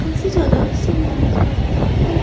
काफी ज्यादा सामान रखा हुआ है।